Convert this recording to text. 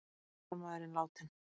Síðasti hermaðurinn látinn